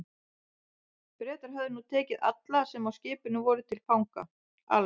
Bretar höfðu nú tekið alla, sem á skipinu voru, til fanga, alls